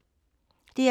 DR2